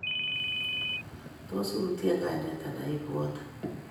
Tos iutie kainet andan ibwati